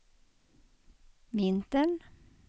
vintern